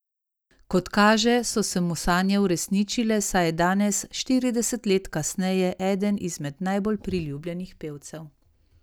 Kot kaže, so se mu sanje uresničile, saj je danes, štirideset let kasneje, eden izmed najbolj priljubljenih pevcev.